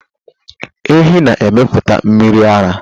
Ehi na emepụta mmiri ara.